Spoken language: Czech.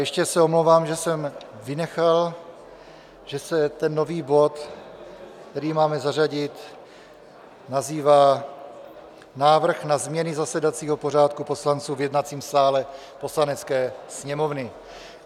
Ještě se omlouvám, že jsme vynechal, že se ten nový bod, který máme zařadit, nazývá Návrh na změny zasedacího pořádku poslanců v jednacím sále Poslanecké sněmovny.